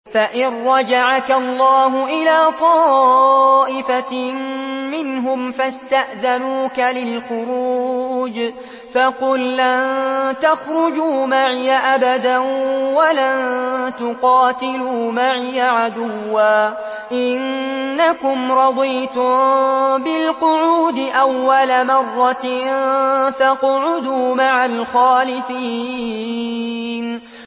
فَإِن رَّجَعَكَ اللَّهُ إِلَىٰ طَائِفَةٍ مِّنْهُمْ فَاسْتَأْذَنُوكَ لِلْخُرُوجِ فَقُل لَّن تَخْرُجُوا مَعِيَ أَبَدًا وَلَن تُقَاتِلُوا مَعِيَ عَدُوًّا ۖ إِنَّكُمْ رَضِيتُم بِالْقُعُودِ أَوَّلَ مَرَّةٍ فَاقْعُدُوا مَعَ الْخَالِفِينَ